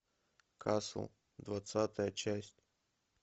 касл двадцатая часть